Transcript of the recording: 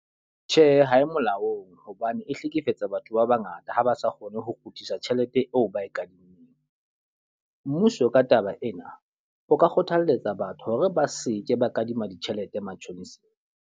Tjhe, ha e molaong hobane e hlekefetsa batho ba ba ngata ha ba sa kgone ho kgutlisa tjhelete eo ba e kadimmeng. Mmuso ka taba ena, o ka kgothaletsa batho hore ba seke ba kadima ditjhelete matjhonisa